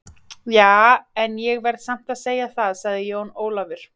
Ja, en ég verð samt að segja það, sagði Jón Ólafur.